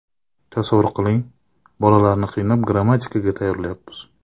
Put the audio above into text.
Tasavvur qiling, bolalarni qiynab, grammatikaga tayyorlayapmiz.